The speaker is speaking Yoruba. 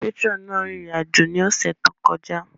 Patirọni náà rin irin-ajo ni ọsẹ to kọja.